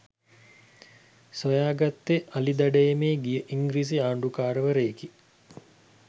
සොයාගත්තේ අලි දඩයමේ ගිය ඉංග්‍රිසි ආණ්ඩුකාරවරයෙකි